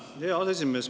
Hea aseesimees!